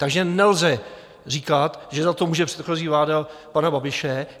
Takže nelze říkat, že za to může předchozí vláda pana Babiše.